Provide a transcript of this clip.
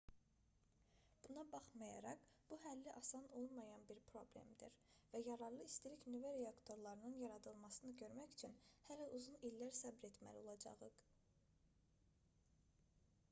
buna baxmayaraq bu həlli asan olmayan bir problemdir və yararlı istilik-nüvə reaktorlarının yaradılmasını görmək üçün hələ uzun illər səbr etməli olacağıq